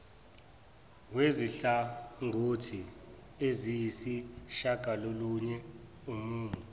wezinhlangothi eziyisishagalolunye umumo